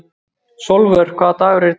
Sólvör, hvaða dagur er í dag?